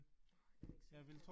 Nej, det jeg ikke sikker på